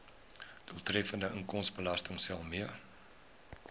doeltreffende inkomstebelastingstelsel mee